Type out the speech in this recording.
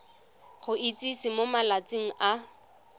go itsise mo malatsing a